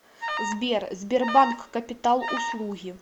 сбер сбербанк капитал услуги